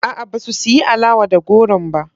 A'a, ba su siyi alawa da goron ba.